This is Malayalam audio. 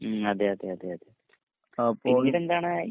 അപ്പോൾ